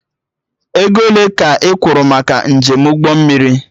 Ego ole ka ị kwuru maka njem ụgbọ mmiri?